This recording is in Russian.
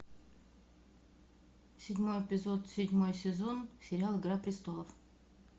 седьмой эпизод седьмой сезон сериал игра престолов